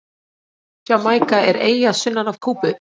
Jamaíka er eyja sunnan af Kúbu.